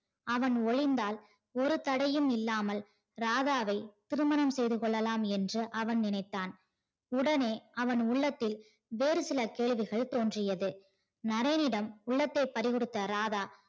அவன் ஒழித்தால் ஒரு தடையும் இல்லாமல் ராதாவை திருமணம் செய்து கொள்ளலாம் என்று அவன் நினைத்தான் உடனே அவன் உள்ளத்தில் வேறு சில கேள்விகள் தோன்றியது. நரேனிடம் உள்ளத்தை பறிகொடுத்த ராதா